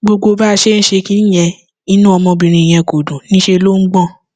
gbogbo bá a ṣe ń ṣe kinní yẹn inú ọmọbìnrin yẹn kò dùn níṣẹ ló ń gbọn